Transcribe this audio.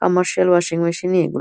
commercial washing machine -এ এগু--